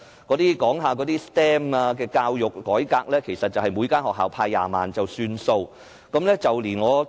有關 STEM 的教育改革，其實只是每間學校撥款20萬元。